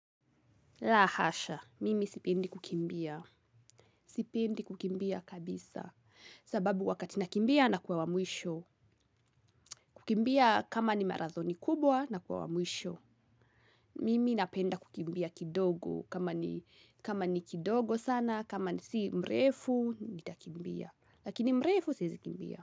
Lahasha, mimi sipendi kukimbia, sipendi kukimbia kabisa, sababu wakati nakimbia na kuwa wa mwisho, kimbia kama ni marathoni kubwa nakuwa wa mwisho mimi napenda kukimbia kidogo kama ni kidogo sana kama si mrefu nitakimbia lakini mrefu siwezi kimbia.